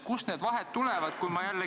Kust need vahed tulevad?